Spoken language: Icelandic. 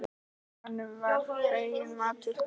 Honum var fenginn matur.